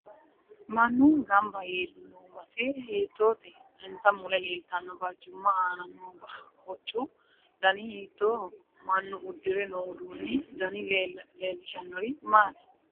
Mannu ganbba yee noo base hiitoote insa mule leeltanno barcima aana noo hoccu dani hiitooho mannu uddire noo uduunu dani leelishanori maati